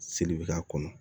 Seli bɛ k'a kɔnɔ